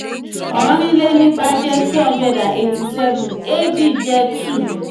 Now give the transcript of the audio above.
òrìnlénígba jẹ́ two hundred and eighty seven eéjì jẹ́ two